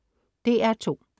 DR2: